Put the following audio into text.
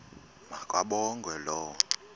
ma kabongwe low